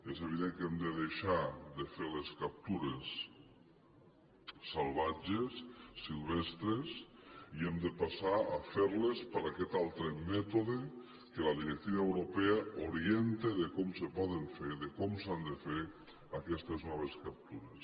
és evident que hem de deixar de fer les captures salvatges silvestres i hem de passar a fer les per aquest altre mètode que la directiva europea orienta de com se poden fer de com s’han de fer aquestes noves captures